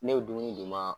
Ne bɛ dumuni d'u ma